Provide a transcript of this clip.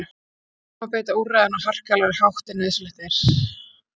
Ekki má beita úrræðinu á harkalegri hátt en nauðsynlegt er.